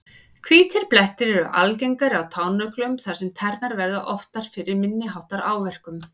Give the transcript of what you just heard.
Hvítir blettir eru algengari á tánöglum þar sem tærnar verða oftar fyrir minni háttar áverkum.